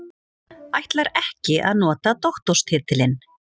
Ætlar ekki að nota doktorstitilinn